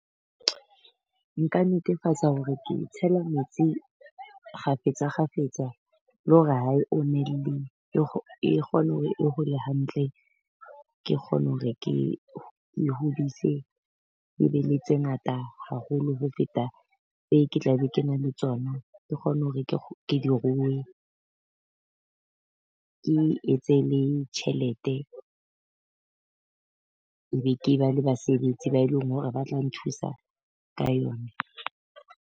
Nka netefatsa hore ke e tshela metsi kgafetsa kgafetsa, le hore ha e ommele e kgone hore e hole hantle. Ke kgone hore ke e hodise e be le tse ngata haholo ho feta e ke tla be ke na le tsona. Ke kgone hore ke di rue ke etse le tjhelete. E be ke ba le basebetsi ba eleng hore ba tla nthusa ka yone.